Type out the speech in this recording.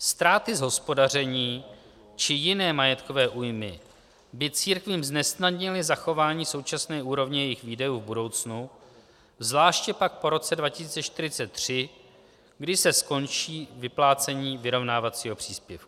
Ztráty z hospodaření či jiné majetkové újmy by církvím znesnadnily zachování současné úrovně jejich výdajů v budoucnu, zvláště pak po roce 2043, kdy se skončí vyplácení vyrovnávacího příspěvku.